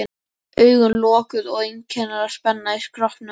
Augun lokuð og einkennileg spenna í skrokknum.